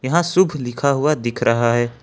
यहाँ शुभ लिखा हुआ दिख रहा है।